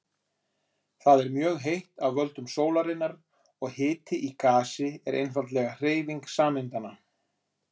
Þar er mjög heitt af völdum sólarinnar og hiti í gasi er einfaldlega hreyfing sameindanna.